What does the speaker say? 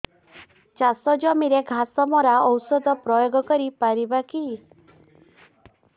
ଚାଷ ଜମିରେ ଘାସ ମରା ଔଷଧ ପ୍ରୟୋଗ କରି ପାରିବା କି